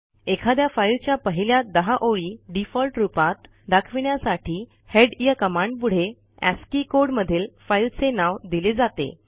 एखाद्या फाईलच्या पहिल्या १० ओळी डिफॉल्ट रूपात दाखविण्यासाठी headया कमांडपुढे अस्की कोड मधील फाईलचे नाव दिले जाते